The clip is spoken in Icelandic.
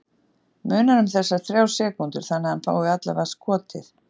Munar um þessar þrjár sekúndur þannig að hann fái allavega skotið?